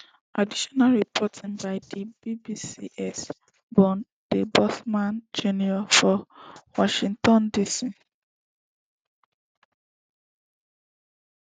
additional reporting by di bbcs bernd debusmann jr for washington dc